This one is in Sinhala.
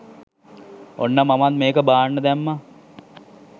ඔන්න මමත් මේක බාන්න දැම්මා.